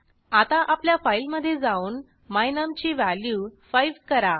आता आपल्या फाईलमधे जाऊन my num ची व्हॅल्यू 5 करा